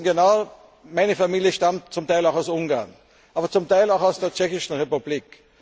an. Sie wissen genau Meine Familie stammt zum Teil aus Ungarn, zum Teil auch aus der Tschechischen Republik.